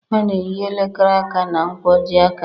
A na-eyi elekere aka na nkwojiaka